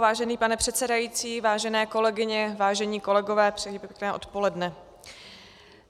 Vážený pane předsedající, vážené kolegyně, vážení kolegové, přeji pěkné odpoledne.